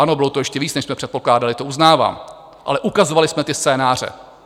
Ano, bylo to ještě víc, než jsme předpokládali, to uznávám, ale ukazovali jsme ty scénáře.